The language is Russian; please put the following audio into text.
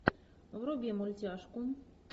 вруби мультяшку